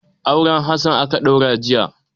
Auren Hassana aka ɗaura jiya.